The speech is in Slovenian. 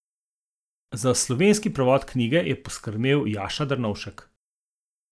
Za slovenski prevod knjige pa je poskrbel Jaša Drnovšek.